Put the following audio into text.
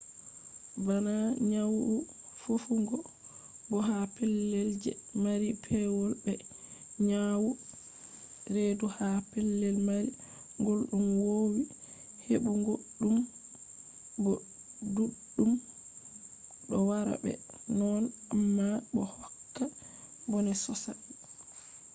bana nyawu fofugo bo ha pellel je mari pewol be nyawu redu ha pellel mari gulɗum wowi heɓu go ɗum bo ɗuɗɗum ɗo wara be mone amma bo hokka bone sosai